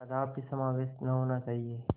कदापि समावेश न होना चाहिए